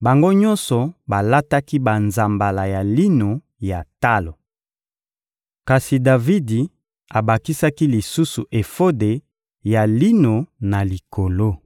bango nyonso balataki banzambala ya lino ya talo. Kasi Davidi abakisaki lisusu efode ya lino na likolo.